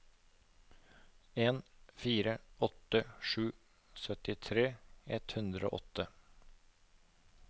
en fire åtte sju syttitre ett hundre og åtte